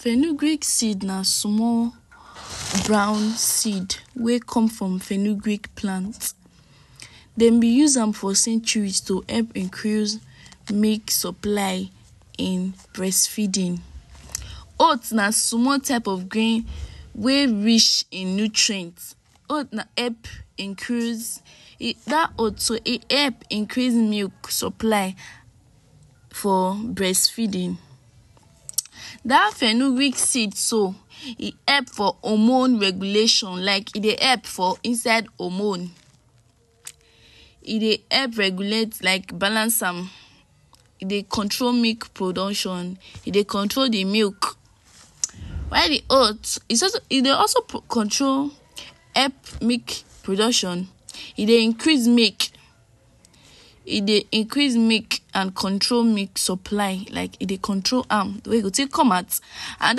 Fenugreek seed na small brown seed wey come from fenugreek plant. Dem b use am for centuries to help increase milk supply in breastfeeding. Oat na samll type of green wey rich in nutrient, oat na help increase. Dat oat so e help increase milk supply for breast feeding dat fenugric seed so e help for hormones regulation like e dey help for inside hormone. E dey help regulate like balance am, e dey control milk production e dey control de milk. While de oat e dey also control help milk production, e dey increase milk e dey increases milk and control milk supply like e dey control am, de way e go take come out and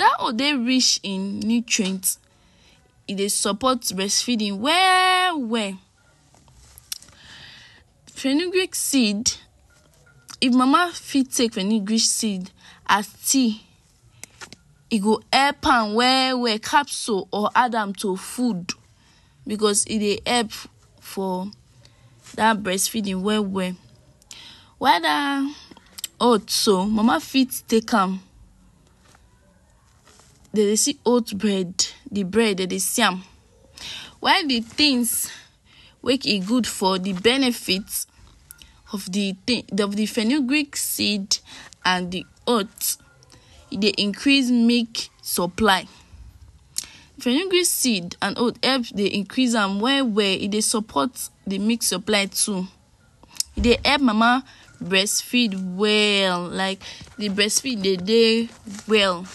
dat oat dey rich in nutrient. E dey support breastfeeding well well. Fenugreek seed if mama fit take fenugreek seed as tea, e go help am well well; capsule or add am to food because e dey help for dat breast feeding well well. While dat oat so mama fit take am, dey dey see oat bread de bread dey dey see am. While de things make e good for de benefit of de of de fenugreek seed and de oat. E dey increase milk supply. Fenugreek seed and oat help dey increase am well well e dey support de milk supply too.e dey help mama breastfeed well like de breastfeed dey dey well.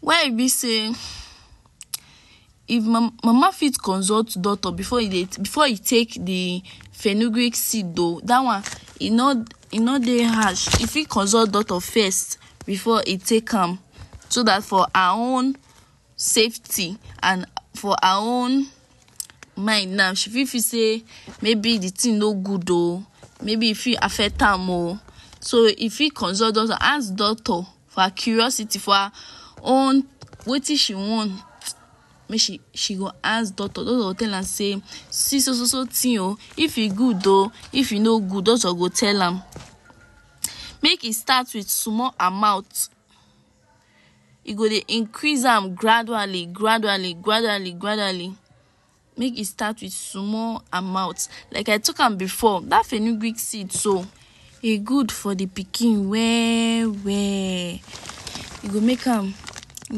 Where e be sey if mama fit consult doctor before e take de fenugreek seed oo, dat one e no e no dey harsh. E fit consult doctor to first before e take am so dat for her own safety and for her own mind now she fit feel sey maybe de thing no good oo, maybe e fit affect am oo. So e fit consult doctor, ask doctor for her curiosity for her own wetin she want make she she go ask doctor, doctor go tell am say “see so so so thing oo if e good oo if e no good”, doctor go tell am. Make e start wit small amount, e go dey increase am gradually gradually gradually gradually, make e start wit small amount. Like I took am before dat fenugreek seed so, e good for de pikin well well. E go make am e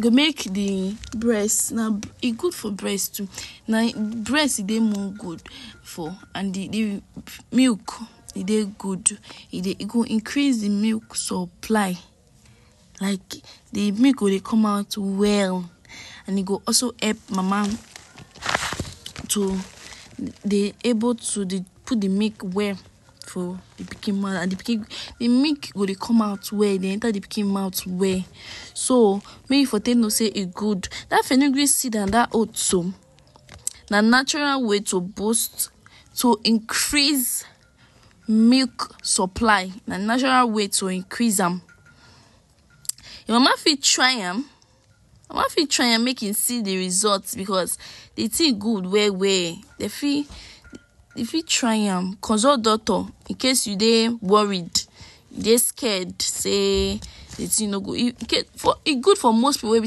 go make de breast na e good for breast too, breast dey more good for and de milk e dey good. E dey e go increase de milk supply like de milk go dey come out well and e go also help mama to dey able to put de milk well for the pikin mouth and de pikin de milk go dey come out well dey enter de pikin mouth well, so make e for take know sey e good. Dat fenugric seed and dat oat so na natural way to boost to increase milk supply na natural way to increase am. Your mama fit try am your mama fit try am make e see de result because de thing good well well. Dey fit dey fit try am, consult doctor incase you dey worried, dey scared sey de thing no good. E good for most pipu wey be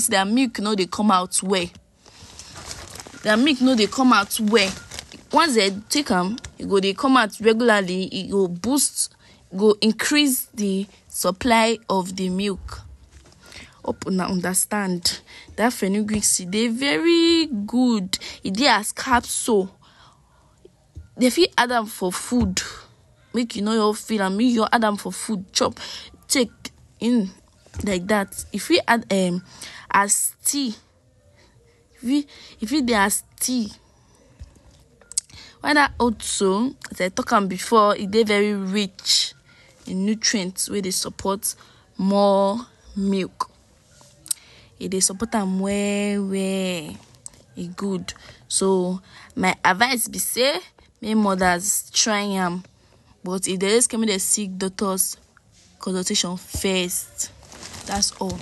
sey their milk no dey come well, their milk no dey come out well. Once dey take am, e go dey come out regularly, e go boost go increase de supply of de milk. Hope una understand dat fenugreek seed dey very good. E dey as capsule, dey fit add am for food make you no just feel am, make you add am for food, chop take like dat. E fit add um as tea, um e fit dey as tea. While dat oat so, dem talk before e dey very rich in nutrient wey dey support more milk. E dey support am well well, e good. So my advice be sey make mothers try am but if dey just come make dem seek doctors consultation first dats all.